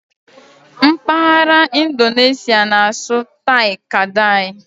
M̀paghara Indoneshịa na-asụ '"Tai-Kadai"